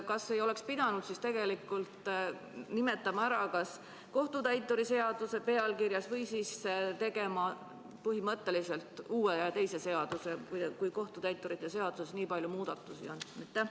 Kas ei oleks pidanud pealkirjas nimetama kohtutäituri seadust või tegema põhimõtteliselt uue, teise seaduse, kui kohtutäituri seaduses nii palju muudatusi on?